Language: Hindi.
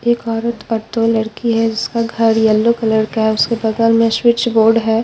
एक औरत और दो लड़की हैं जिसका घर येल्लो कलर का हैं उसके बगल में स्विच बोर्ड हैं।